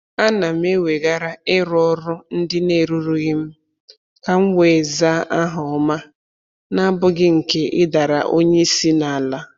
Ana m eweghara ịrụ ọrụ ndị na-erurughị m ka m wee zara aha ọma n'abụghị nke ịdara onye isi n'ala